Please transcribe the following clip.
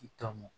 I tɔmɔ